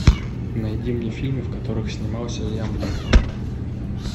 найди мне фильмы в которых снимался лиам нисон